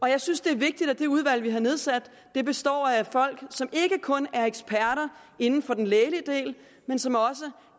jeg synes det er vigtigt at det udvalg vi har nedsat består af folk som ikke kun er eksperter inden for den lægelige del men som også